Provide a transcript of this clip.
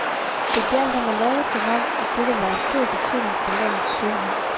Det gjaldt om at lade som om, at dette var af stor betydning for landets sundhed.